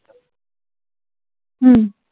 हम्म